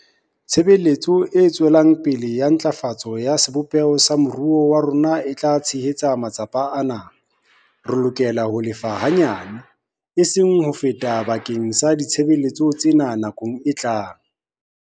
Tshebetso e tswelang pele ya ntlafatso ya sebopeho sa moruo wa rona e tla tshehetsa matsapa ana. Re lokela ho lefa hanyane, eseng ho feta bakeng sa ditshebeletso tsena nakong e tlang.